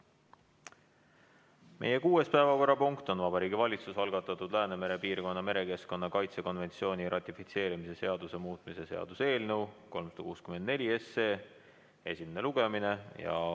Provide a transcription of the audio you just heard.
Meie kuues päevakorrapunkt on Vabariigi Valitsuse algatatud Läänemere piirkonna merekeskkonna kaitse konventsiooni ratifitseerimise seaduse muutmise seaduse eelnõu 364 esimene lugemine.